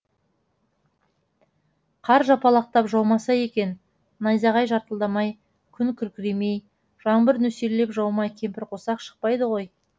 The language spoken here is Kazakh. қар жапалақтап жаумаса екен найзағай жарқылдамай күн күркіремей жаңбыр нөсерлеп жаумай кемпірқосақ шықпайды ғой